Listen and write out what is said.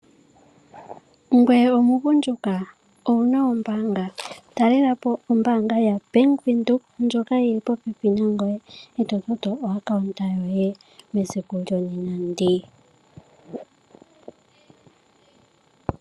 Ngweye omugundjuka? Owu na ombaanga? Talela po ombaanga yaBank Windhoek ndjoka yi li popepi nangweye e to toto okambo koye kombaanga mesiku lyonena ndi.